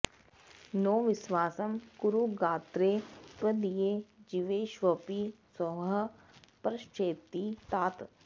नो विस्वासं कुरु गात्रे त्वदीये जीवेष्वपि स्वः परश्चेति तात